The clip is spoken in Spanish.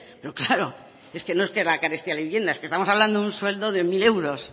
pero claro es que no es que la carestía de la vivienda es que estamos hablando de un sueldo de mil euros